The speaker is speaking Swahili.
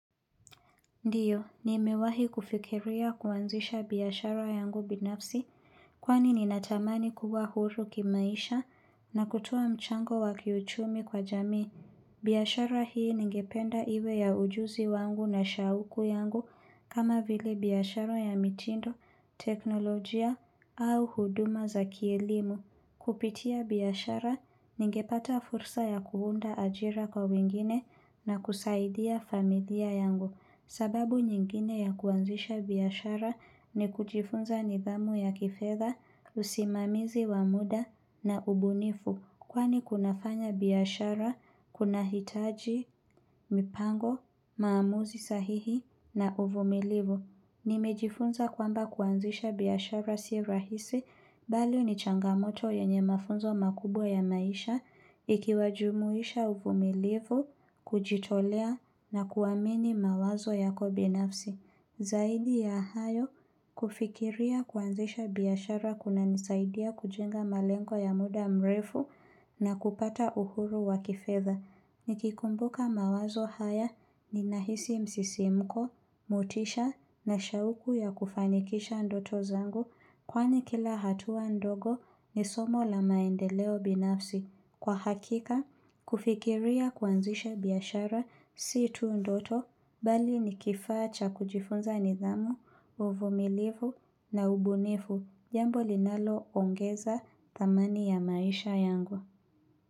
Ndiyo, ni mewahi kufikiria kuanzisha biashara yangu binafsi, kwani ninatamani kuwa huru kimaisha na kutua mchango wakiuchumi kwa jamii. Biashara hii ningependa iwe ya ujuzi wangu na shauku yangu kama vile biashara ya mitindo, teknolojia au huduma za kielimu. Kupitia biashara ningepata fursa ya kuunda ajira kwa wengine na kusaidia familia yangu. Sababu nyingine ya kuanzisha biashara ni kujifunza nidhamu ya kifedha, usimamizi wa muda na ubunifu. Kwani kunafanya biashara, kunahitaji, mipango, maamuzi sahihi na uvumilivu. Nimejifunza kwamba kuanzisha biashara si rahisi, mbali ni changamoto yenye mafunzo makubwa ya maisha, ikiwajumuisha uvumilivu, kujitolea na kuamini mawazo yako binafsi. Zaidi ya hayo, kufikiria kuanzisha biashara kunanisaidia kujenga malengo ya muda mrefu na kupata uhuru wakifedha. Nikikumbuka mawazo haya ninahisi msisimko, mutisha na shauku ya kufanikisha ndoto zangu kwani kila hatua ndogo ni somo la maendeleo binafsi. Kwa hakika, kufikiria kwanzisha biashara, si tu ndoto mbali nikifaa cha kujifunza nidhamu, uvomilivu na ubunifu, jambo linaloongeza dhamani ya maisha yangu.